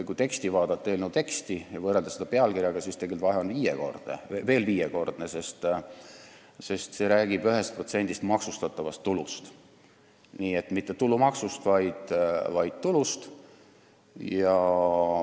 Kui vaadata eelnõu teksti ja võrrelda seda pealkirjaga, selgub, et vahe ongi viiekordne, sest räägitakse 1% maksustatavast tulust, st mitte tulumaksust, vaid tulust.